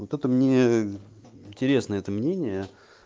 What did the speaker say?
вот это мне интересно это мнение